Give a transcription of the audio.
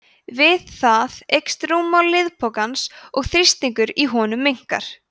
við það eykst rúmmál liðpokans og þrýstingur í honum minnkar